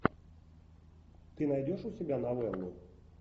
ты найдешь у себя новеллу